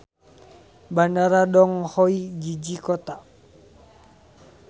Bandara Dong Hoi jiji kota.